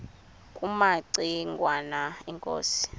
kumaci ngwana inkosi